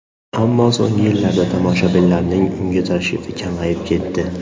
Ammo so‘nggi yillarda tomoshabinlarning unga tashrifi kamayib ketdi.